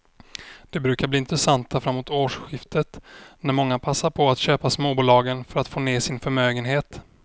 De brukar bli intressanta framåt årsskiftet när många passar på att köpa småbolagen för att få ner sin förmögenhet.